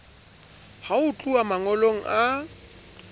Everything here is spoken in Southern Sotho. ha ho tluwa mangolong a